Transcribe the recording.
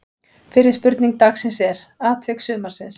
Fyrri spurning dagsins er: Atvik sumarsins?